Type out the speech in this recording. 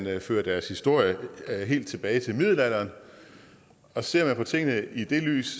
føre deres historie helt tilbage til middelalderen og ser man på tingene i det lys